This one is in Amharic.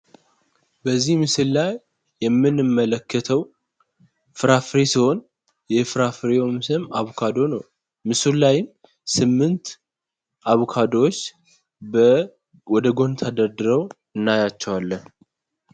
በዚህ ምስል ላይ የምንመለከተው ፍራፍሬ ሲሆን የፍራፍሬውም ስም አቦካዶ ነው። ምስሉ ላይ ስምንት አቦካዶዎች ወደ ጎን ተደርድረው እናያቸዋለን።